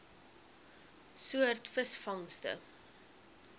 soort visvangste